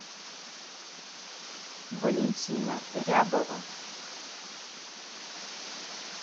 валентина рябова